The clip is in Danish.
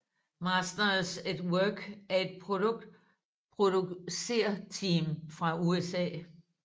Masters At Work er et producerteam fra USA